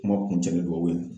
Kuma kuncɛ ni dugawu ye